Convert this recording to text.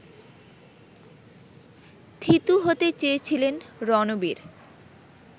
থিতু হতে চেয়েছিলেন রণবীর